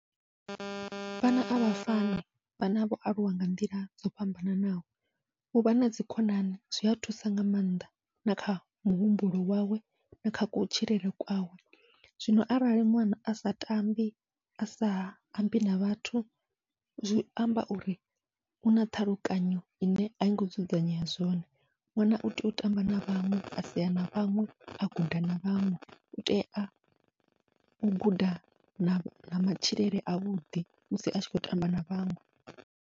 Vhana avha fani vhana vho aluwa nga nḓila dzo fhambananaho, uvha nadzi khonani zwia thusa nga maanḓa na kha muhumbulo wawe na kha kutshilele kwawe, zwino arali ṅwana asa tambi asa ambi na vhathu zwi amba uri u na ṱhalukanyo ine aingo dzudzanyea zwone, ṅwana utea u tamba na vhaṅwe asea na vhaṅwe a guda na vhaṅwe utea u guda na matshilele avhuḓi musi atshi khou tamba na vhaṅwe.